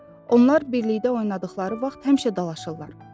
Onlar birlikdə oynadıqları vaxt həmişə dalaşırlar.